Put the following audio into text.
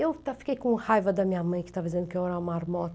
Eu fiquei com raiva da minha mãe que estava dizendo que eu era uma marmota.